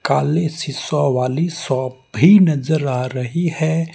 काली शीशो वाली शॉप भी नजर आ रही है।